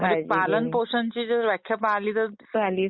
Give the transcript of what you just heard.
म्हणजे पालन पोषण ची व्याख्या पाहिली तर दोन... ping conversation